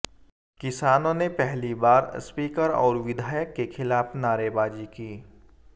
किसानों ने पहली बार स्पीकर और विधायक के खिलाफ नारेबाजी की